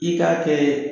I k'a kɛ